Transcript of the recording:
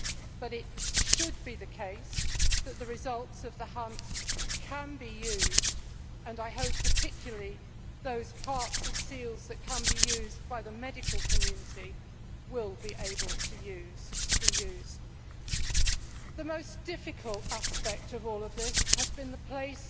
But it should be the case that the results of the hunt can be used, and I hope particularly that those parts of seals that can be used by the medical community will be able to be used. The most difficult aspect of all of this has been the place